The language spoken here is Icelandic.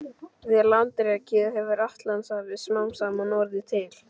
Við landrekið hefur Atlantshafið smám saman orðið til.